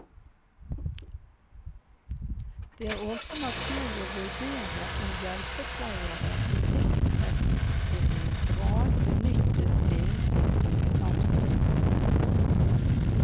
Det er også naturlig å vurdere om hjelpepleiere i tilstrekkelig grad benyttes innen sitt kompetanseområde.